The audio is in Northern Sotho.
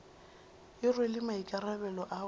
e rwele maikarabelo a go